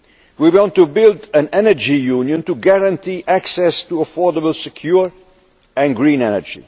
We want to build an Energy Union to guarantee access to affordable, secure and green energy.